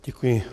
Děkuji.